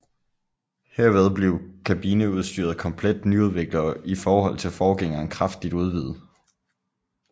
Herved blev kabineudstyret komplet nyudviklet og i forhold til forgængeren kraftigt udvidet